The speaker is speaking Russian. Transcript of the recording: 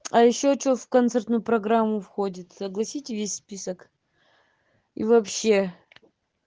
а ещё что в концертную программу входит огласите весь список и вообще